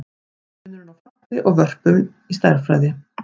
Hver er munurinn á falli og vörpun í stærðfræði?